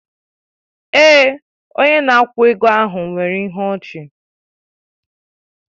Èè, onye na-akwụ ego ahụ nwere ịhụ ọchi